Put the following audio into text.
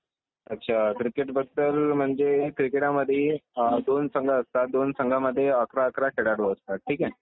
अच्छा क्रिकेटबद्दल म्हणजे क्रिकेटामधे अं दोन संघ असतात. दोन संघांमध्ये अकरा अकरा खेळाडू असतात. ठीक आहे.